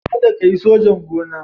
Kada ka yi sojan gona.